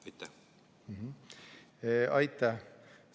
Aitäh!